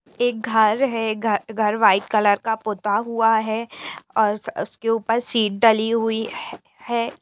एक घर है घर व्हाइट कलर का पोता हुआ है और उसके ऊपर शीट डाली हुई है।